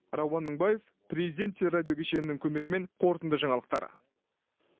рауан мыңбаев президент телерадио кешенінің көмегімен қорытынды жаңалықтар